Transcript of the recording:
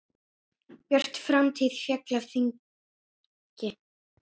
Björt framtíð féll af þingi.